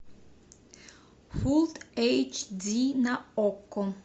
фулл эйч ди на окко